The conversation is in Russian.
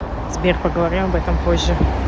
сбер поговорим об этом позже